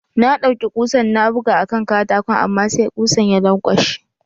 Na ɗaiuki kusan na buga a kan katakon amma sai kusan ya lankwashe.